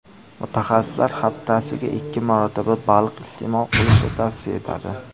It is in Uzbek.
Mutaxassislar haftasiga ikki marotaba baliq iste’mol qilishni tavsiya etadi.